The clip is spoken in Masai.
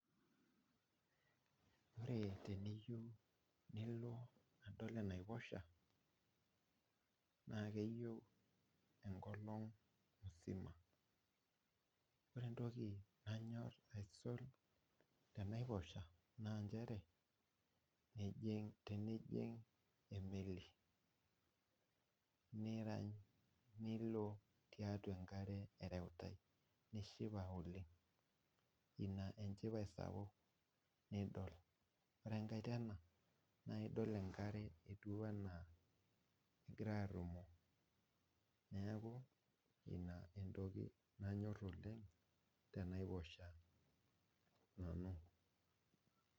Ore teniyieu nilo adol enaiposha naa keeyieu enkolong musima. Ore entoki nanyorr aisul tenaiposha naa nchere, ijing, tenijing emeli nirany, nilo tiatwa enkare ereutae nishipa oleng. Ina enchipai sapuk nidol. Ore enkae tena, naa idol enkare etiu enaa egirae arrumoo. Neeku ina entoki nanyorr oleng tenaiposha nanu